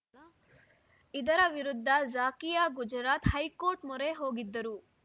ಇದರ ವಿರುದ್ಧ ಝಾಕಿಯಾ ಗುಜರಾತ್‌ ಹೈಕೋರ್ಟ್‌ ಮೊರೆ ಹೋಗಿದ್ದರು